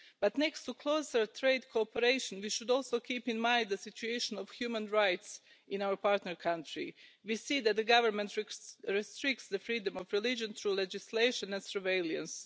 But next to closer trade cooperation we should also keep in mind the situation of human rights in our partner country. We see that the government restricts the freedom of religion through legislation and surveillance.